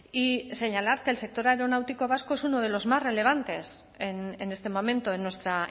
y señalar que el sector aeronáutico vasco es uno de los más relevantes en este momento en nuestra